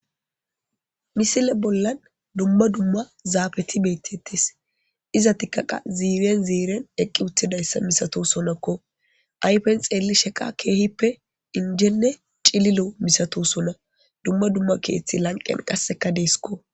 Missile bollan dumma dumma zafeti bettetes izzetika qasse ziiren ziiren eqqi uttidayssa masatosonako ayfes xellishin kehippe injjene cillilo misatosona dumma dumma keththey lanqqen qasseka dessiko.